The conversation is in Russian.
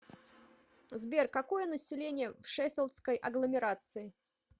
сбер какое население в шеффилдской агломерации